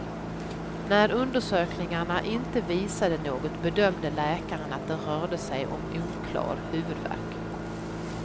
När undersökningarna inte visade något bedömde läkaren att det rörde sig om oklar huvudvärk.